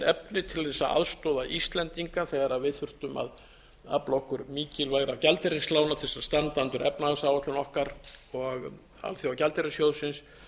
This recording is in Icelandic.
efni til þess að aðstoða íslendinga þegar við þurftum að afla okkur mikilvægra gjaldeyrislána til þess að standa undir efnahagsáætlun okkar og alþjóðagjaldeyrissjóðsins